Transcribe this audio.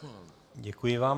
Děkuji vám.